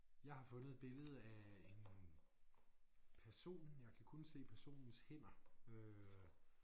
Jeg har fundet et billede af en person jeg kan kun se personens hænder øh